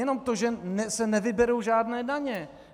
Jenom to, že se nevyberou žádné daně.